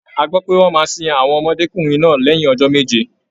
A gbọ́ pé wọ́n máa sin àwọn ọmọdékùnrin náà lẹ́yìn ọjọ́ méje.